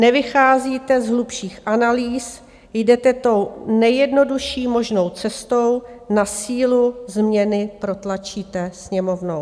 Nevycházíte z hlubších analýz, jdete tou nejjednodušší možnou cestou, na sílu změny protlačíte Sněmovnou.